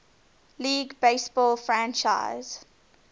league baseball franchise